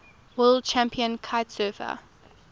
world champion kitesurfer